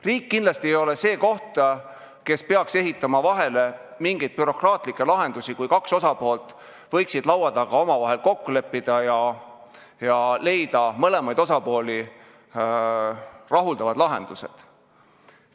Riik kindlasti ei ole see koht, kes peaks ehitama vahele mingeid bürokraatlikke lahendusi, kui kaks osapoolt võiksid omavahel laua taga omavahel kokku leppida ja leida mõlemaid osapooli rahuldavad lahendused.